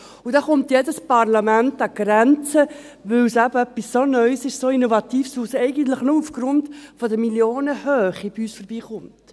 Dabei stösst jedes Parlament an Grenzen, weil es so etwas Neues, so etwas Innovatives ist, das nur wegen der Millionenhöhe bei uns vorbeikommt.